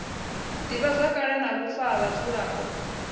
divhazwakale na vhufa ha vhadzulapo